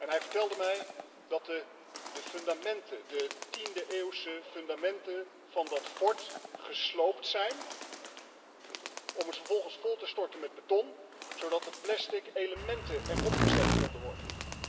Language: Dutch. Hij vertelde mij dat de 10e-eeuwse fundamenten van dat fort gesloopt zijn, om ze vervolgens vol te storten met beton, zodat de plastic elementen erop gezet konden worden.